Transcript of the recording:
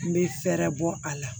N bɛ fɛɛrɛ bɔ a la